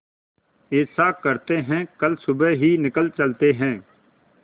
ऐसा करते है कल सुबह ही निकल चलते है